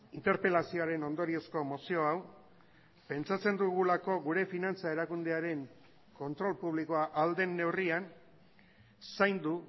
interpelazioaren ondoriozko mozio hau pentsatzen dugulako gure finantza erakundearen kontrol publikoa ahal den neurrian zaindu